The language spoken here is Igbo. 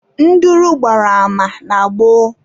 Nduru gbara ama na gboo